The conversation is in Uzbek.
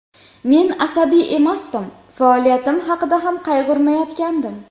Men asabiy emasdim, faoliyatim haqida ham qayg‘urmayotgandim.